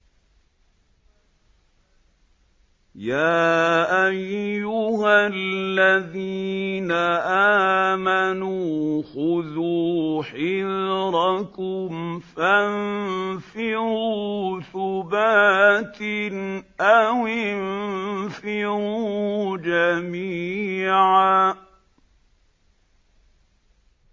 يَا أَيُّهَا الَّذِينَ آمَنُوا خُذُوا حِذْرَكُمْ فَانفِرُوا ثُبَاتٍ أَوِ انفِرُوا جَمِيعًا